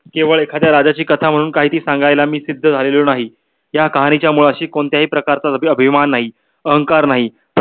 केवळ एखाद्या राजाची कथा म्हणून काय ते सांगायला मी सिद्ध झालेलो नाही. या कहाणी च्या मुळाशी कोणत्याही प्रकारचा अभिमान नाही अहंकार नाही.